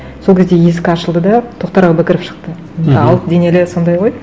сол кезде есік ашылды да тоқтар әубәкіров шықты мхм енді алып денелі сондай ғой